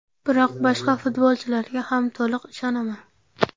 Biroq boshqa futbolchilarga ham to‘liq ishonaman.